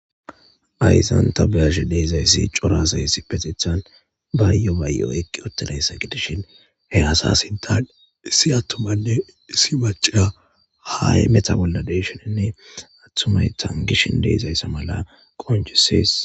Hayisani ta beyashe dizayisi cora asayi issippetethani bayo bayo eqidi utidayisa gidishshin he asa sinthani issi atumanne issi macca hameto bola deishshenne tanigishe dizayisa qoncisesi